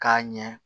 K'a ɲɛ